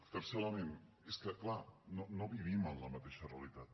tercer element és que clar no vivim en la mateixa realitat